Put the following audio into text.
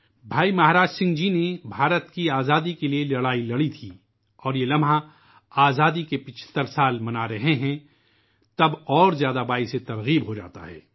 بھائی مہاراج جی بھارت کی آزادی کے لئے لڑے تھے اور یہ لمحہ اس وقت مزید متاثرکن ہو گیا ہے جب ہم آزادی کے 75 برسوں کا جشن منا رہے ہیں